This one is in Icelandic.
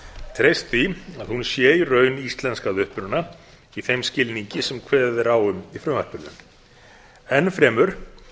treyst því að hún sé í raun íslensk að uppruna í þeim skilningi sem kveðið er á um í frumvarpinu enn fremur